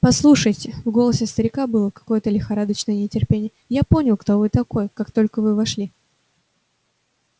послушайте в голосе старика было какое-то лихорадочное нетерпение я понял кто вы такой как только вы вошли